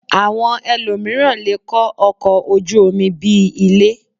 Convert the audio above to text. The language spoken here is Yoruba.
Àwọn elòmíràn lè kọ́ ọkọ̀ ojú omi bí i ilé